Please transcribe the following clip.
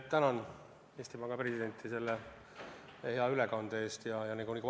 Tänan Eesti Panga presidenti selle hea ettekande eest!